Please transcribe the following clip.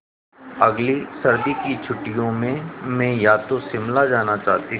अगली सर्दी की छुट्टियों में मैं या तो शिमला जाना चाहती हूँ